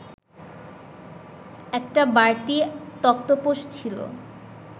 একটা বাড়তি তক্তপোষ ছিল